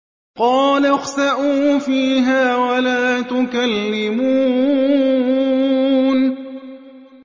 قَالَ اخْسَئُوا فِيهَا وَلَا تُكَلِّمُونِ